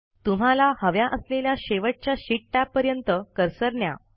तुम्हाला हव्या असलेल्या शेवटच्या शीट टॅबपर्यंत कर्सर न्या